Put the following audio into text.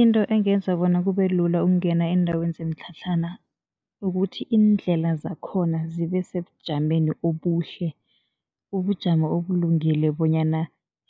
Into engenza bona kube lula ukungena eendaweni zemitlhatlhana ukuthi, iindlela zakhona zibe sebujameni obuhle, ubujamo obulungile bonyana